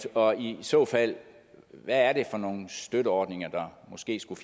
og i så fald hvad er det for nogle støtteordninger der måske skulle